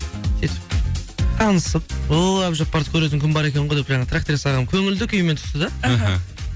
сөйтіп танысып ой әбдіжаппарды көретін күн бар екен ғой деп жаңағы тракторист ағам көңіл күймен түсті да іхі